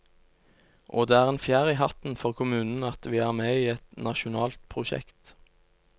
Og det er en fjær i hatten for kommunen at vi er med i et nasjonalt prosjekt.